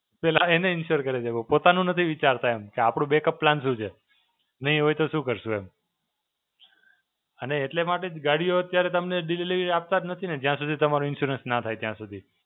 પહેલા એને Insure કરે છે. પોતાનું નથી વિચારતા એમ. કે આપડું Backup plan શું છે? નહીં હોય તો શું કરશું એમ? અને એટલે માટે જ ગડિયો અત્યારે તમને Delivery આપતા જ નથી ને જય સુધી તમારું Insurance ના થાય ત્યાં સુધી.